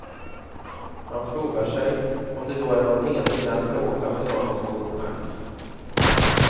Man frågar sig, om det då är någon mening med att bråka med såna små ungar.